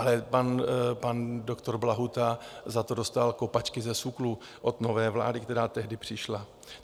Ale pan doktor Blahuta za to dostal kopačky ze SÚKLu od nové vlády, která tehdy přišla.